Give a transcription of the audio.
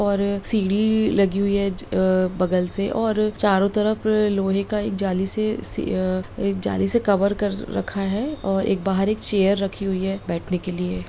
और सीढ़ी लगी हुई है अ बगल से चारों तरफ एक लोहे का जाली से एक जाली से कवर कर रखा है और एक बाहर एक चेयर रखी हुई है बैठने के लिए।